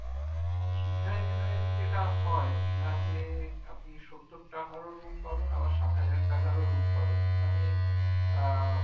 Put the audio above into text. তো দিঘায় generally যেইটা হয় দীঘাতে আপনি সত্তর টাকারও room পাবেন আবার সাতহাজার টাকারও room পাবেন মানে আহ